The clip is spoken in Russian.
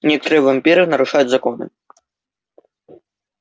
некоторые вампиры нарушают законы